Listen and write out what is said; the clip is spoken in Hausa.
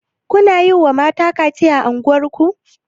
Kuna yiwa mata kaciya a unguwar ku.